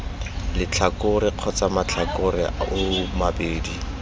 letlhakore kgotsa matlhakore oo mabedi